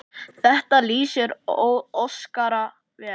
Þetta lýsir Óskari vel.